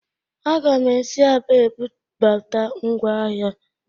Aga'm si Aba ebubata ngwa ahịa